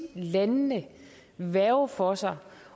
landene værge for sig